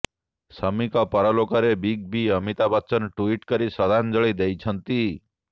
ସମିଙ୍କ ପରଲୋକରେ big B Amitabh Bachchan tweet କରି ଶ୍ରଦ୍ଧାଞ୍ଜଳି ଦେଇଛନ୍ତି